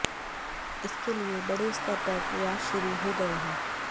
इसके लिए बड़े स्तर पर प्रयास शुरू हो गए हैं